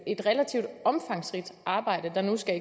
et relativt omfangsrigt arbejde der nu skal